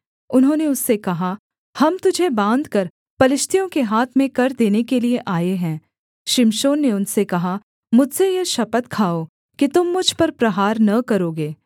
उन्होंने उससे कहा हम तुझे बाँधकर पलिश्तियों के हाथ में कर देने के लिये आए हैं शिमशोन ने उनसे कहा मुझसे यह शपथ खाओ कि तुम मुझ पर प्रहार न करोगे